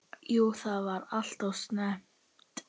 Jú það var alltof snemmt.